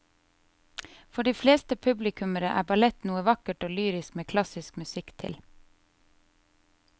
For de fleste publikummere er ballett noe vakkert og lyrisk med klassisk musikk til.